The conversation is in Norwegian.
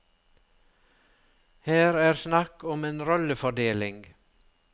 Her er snakk om en rollefordeling.